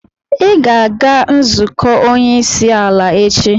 Ị ga-aga nzukọ onye isi ala echi!